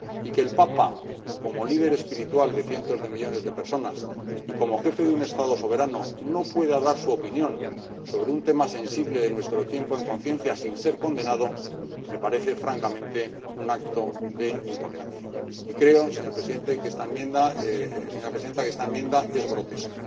Y que el Papa, como líder espiritual de cientos de millones de personas, y como Jefe de un Estado soberano, no pueda dar su opinión sobre un tema sensible de nuestro tiempo, en conciencia, sin ser condenado, me parece francamente un acto de intolerancia. Creo, señora Presidenta, que esta enmienda es grotesca.